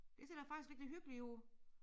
Det ser da faktisk rigtig hyggeligt ud